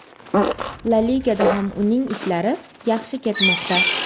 La Ligada ham uning ishlari yaxshi ketmoqda.